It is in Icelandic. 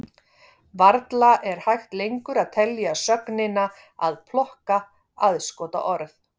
Varla er hægt lengur að telja sögnina að plokka aðskotaorð.